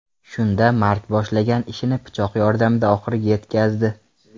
Shunda Mark boshlagan ishini pichoq yordamida oxiriga yetkazdi.